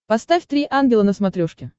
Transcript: поставь три ангела на смотрешке